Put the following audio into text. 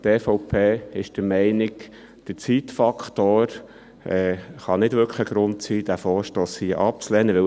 Die EVP ist der Meinung, der Zeitfaktor könne nicht wirklich ein Grund sein, um diesen Vorstoss hier abzulehnen.